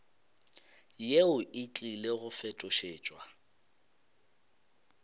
yeo e tlile go fetošetšwa